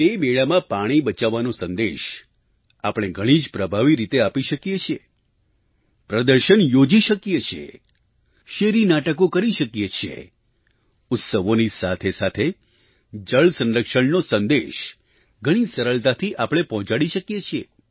તે મેળામાં પાણી બચાવવાનો સંદેશ આપણે ઘણી જ પ્રભાવી રીતે આપી શકીએ છીએ પ્રદર્શન યોજી શકીએ છીએ શેરી નાટકો કરી શકીએ છીએ ઉત્સવોની સાથેસાથે જળસંરક્ષણનો સંદેશ ઘણી સરળતાથી આપણે પહોંચાડી શકીએ છીએ